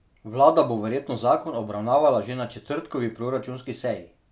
Vlada bo verjetno zakon obravnavala že na četrtkovi proračunski seji.